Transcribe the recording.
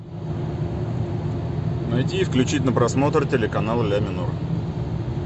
найти и включить на просмотр телеканал ля минор